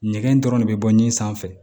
Ɲɛgɛn dɔrɔn de bɛ bɔ ni sanfɛ